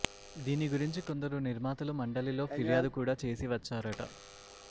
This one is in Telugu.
దీని గురించి కొందరు నిర్మాతలు మండలిలో ఫిర్యాదు కూడా చేసి వచ్చారట